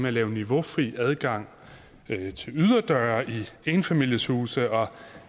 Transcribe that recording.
at lave niveaufri adgang til yderdøre i enfamilieshuse og